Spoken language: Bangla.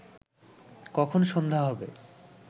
কখন সন্ধ্যা হবে